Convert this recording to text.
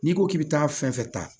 N'i ko k'i bɛ taa fɛn fɛn ta